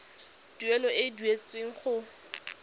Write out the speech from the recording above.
tuelo e e duetsweng go